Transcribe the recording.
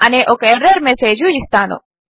అనే ఒక error message ఇస్తాను